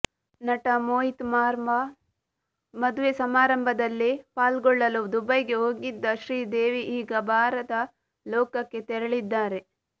ನಟ ಮೋಹಿತ್ ಮಾರ್ವಾ ಮದುವೆ ಸಮಾರಂಭದಲ್ಲಿ ಪಾಲ್ಗೊಳ್ಳಲು ದುಬೈಗೆ ಹೋಗಿದ್ದ ಶ್ರೀದೇವಿ ಈಗ ಬಾರದ ಲೋಕಕ್ಕೆ ತೆರಳಿದ್ದಾರೆ